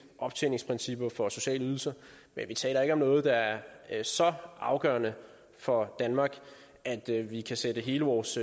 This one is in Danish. optjeningsprincipper for sociale ydelser men vi taler ikke om noget der er er så afgørende for danmark at vi kan sætte hele vores